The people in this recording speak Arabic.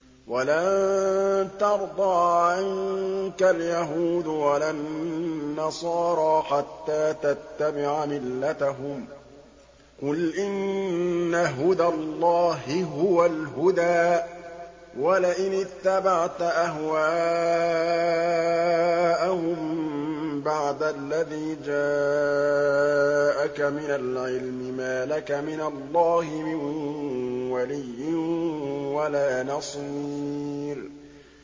وَلَن تَرْضَىٰ عَنكَ الْيَهُودُ وَلَا النَّصَارَىٰ حَتَّىٰ تَتَّبِعَ مِلَّتَهُمْ ۗ قُلْ إِنَّ هُدَى اللَّهِ هُوَ الْهُدَىٰ ۗ وَلَئِنِ اتَّبَعْتَ أَهْوَاءَهُم بَعْدَ الَّذِي جَاءَكَ مِنَ الْعِلْمِ ۙ مَا لَكَ مِنَ اللَّهِ مِن وَلِيٍّ وَلَا نَصِيرٍ